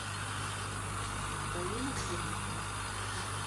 галина курникова